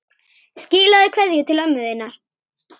Skilaðu kveðju til ömmu þinnar.